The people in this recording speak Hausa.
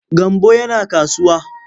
Gambo yana kasuwa.